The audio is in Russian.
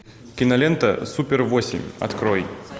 кинолента супер восемь открой